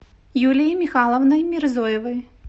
юлией михайловной мирзоевой